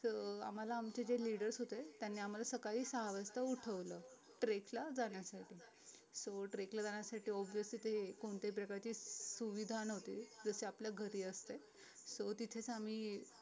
so आम्हाला आमचे जे leaders होते त्यांनी आम्हाला सकाळी सहा वाजता उठवलं trek ला जाण्यासाठी sotreck ला जाण्यसाठी obvious तिथे कोणत्याही प्रकारची सुविधा नव्हती जशी आपल्या घरी असते so तिथेच आम्ही